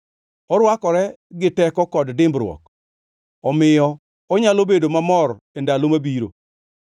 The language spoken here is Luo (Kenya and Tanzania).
Orwakore gi teko kod dimbruok; omiyo onyalo bedo mamor e ndalo mabiro.